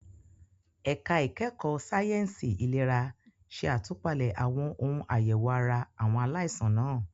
Ẹ̀ka ìkẹ́kọ̀ọ́ sáyẹ̀nsì ìlera ṣe àtúpalẹ̀ àwọn ohun àyẹ̀wò ara àwọn aláìsàn náà.